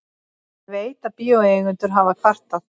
Ég veit, að bíóeigendur hafa kvartað.